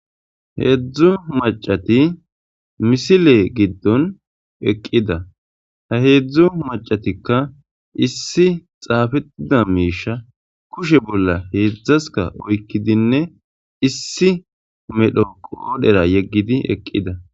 Heedzdzu macati misile giddon eqqida ha heedzdzu macatikka issi xaafettida miisha kushe bolla heedzdzaska oykkidinne issi medho qoodhera yeggidi eqqida.